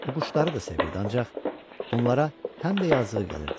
O quşları da sevirdi, ancaq onlara həm də yazığı gəlirdi.